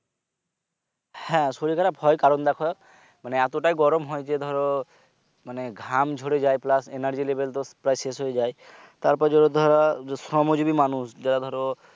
হ্যাঁ শরীর খারাব হয় কারণ দেখো মানে এতটাই গরম হয় যে ধরো মানে ঘাম ঝরে যায় plus anergy level তো শেষ হয়ে যায় তারপর যত ধরো শ্রম জিবী মানুষ